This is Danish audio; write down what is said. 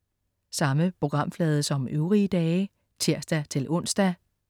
Samme programflade som øvrige dage (tirs-ons)